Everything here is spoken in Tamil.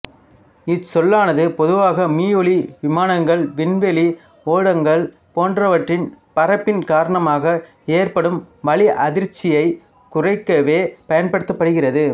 இச்சொல்லானது பொதுவாக மீயொலி விமானங்கள் விண்வெளி ஓடங்கள் போன்றனவற்றின் பறப்பின் காரணமாக ஏற்படும் வளி அதிர்ச்சியை குறிக்கவே பயன்படுகிறது